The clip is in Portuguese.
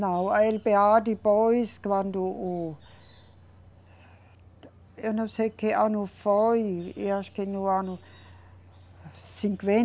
Não, a eLeBêA depois quando o, eu não sei que ano foi e acho que no ano